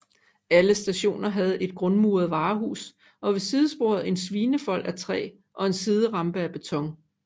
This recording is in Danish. Alle stationer havde et grundmuret varehus og ved sidesporet en svinefold af træ og en siderampe af beton